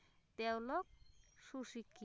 তেওঁলোক সুশিক্ষিত